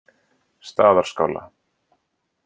Staðarskála